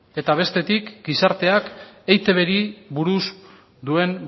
eta bestetik gizarteak eitbri buruz duen